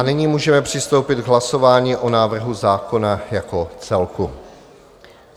A nyní můžeme přistoupit k hlasování o návrhu zákona jako celku.